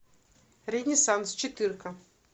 ренессанс четырка